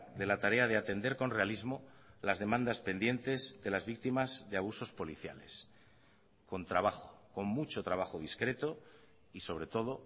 de la tarea de atender con realismo las demandas pendientes de las víctimas de abusos policiales con trabajo con mucho trabajo discreto y sobre todo